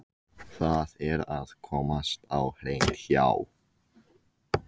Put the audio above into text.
Það er að komast á hreint hjá